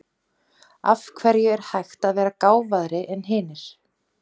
Af hverju er hægt að vera gáfaðri en aðrir?